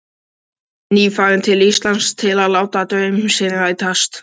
Nýfarinn til Íslands til að láta draum sinn rætast.